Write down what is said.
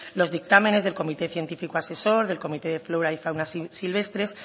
los dictámenes del comité científico asesor del comité de flora y fauna silvestres